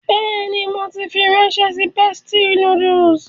Bẹ́ẹ̀ni, mo ti fi ránṣẹ́ sí Bestie Noodles.